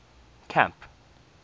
camp